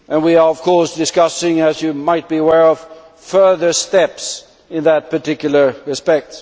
We are, of course, discussing, as you might be aware, further steps in that particular respect.